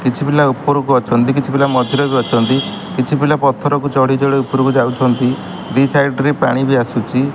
କିଛି ପିଲା ଉପରକୁ ଅଛନ୍ତି କିଛି ପିଲା ମଝିରେ ବି ଅଛନ୍ତି କିଛି ପିଲା ପଥର କୁ ଚଢି ଚଢି ଉପରକୁ ଯାଉଚନ୍ତି ଦି ସାଇଡ ରେ ପାଣି ବି ଆସୁଚି।